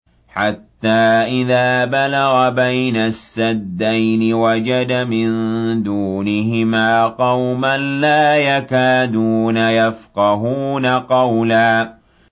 حَتَّىٰ إِذَا بَلَغَ بَيْنَ السَّدَّيْنِ وَجَدَ مِن دُونِهِمَا قَوْمًا لَّا يَكَادُونَ يَفْقَهُونَ قَوْلًا